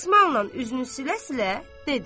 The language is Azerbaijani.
Dəsmalnan üzünü silə-silə dedi.